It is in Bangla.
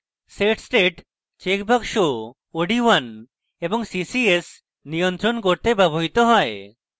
set state চেকবাক্স od1 এবং ccs নিয়ন্ত্রণ করতে ব্যবহৃত হয়